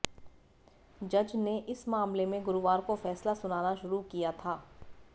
जज ने इस मामले में गुरुवार को फैसला सुनाना शुरू किया था